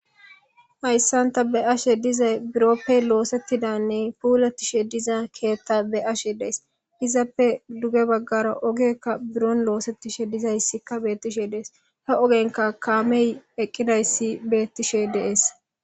hayssanta be ashe dizay biroppe loosettidanne puuletishe diza keetta be ashe dees izappe duge baggara ogekka buron loosettishe dizayssikka beettishe dees ha ogenka kaamey eqqidayssi beettishe deees